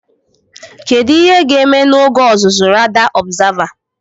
Kedu ihe ga-eme n'oge ọzụzụ Radar Observer?